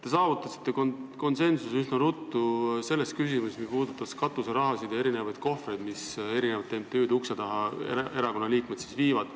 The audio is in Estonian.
Te saavutasite üsna ruttu konsensuse selles küsimuses, mis puudutab katuseraha ja erinevaid kohvreid, mida erakonnaliikmed MTÜ-de ukse taha viivad.